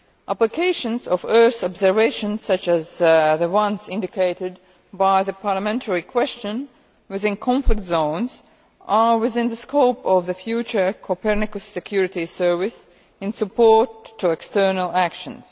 Applications of Earth observation, such as the ones indicated by the parliamentary question, within conflict zones are within the scope of the future Copernicus Security Services in support of external actions.